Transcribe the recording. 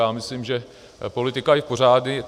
Já myslím, že politika je v pořádku.